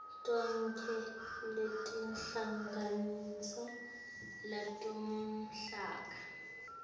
tonkhe letinhlangotsi talomkhakha